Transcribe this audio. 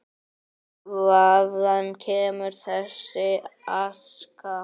Hvaðan kemur þessi aska?